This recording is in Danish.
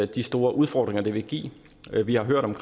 de store udfordringer det vil give vi har hørt om